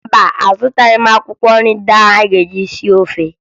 Mba, azụtaghị m akwụkwọ nri anyị ga-eji sie ofe